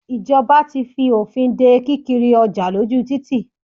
Ìjọba ti fi òfin de kí kiri ọjà lójú títì.